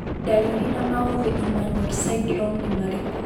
Ndariri na maũthĩ Emanuel syndrome nĩ marĩkũ?